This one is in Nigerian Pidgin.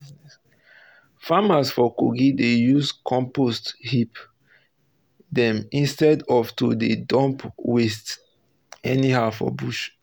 farmers for kogi dey use compost heaps dem instead of to dey dump waste anyhow for bush